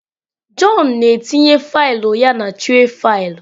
Jọn na-etinye faịlụ ya na tray faịlụ.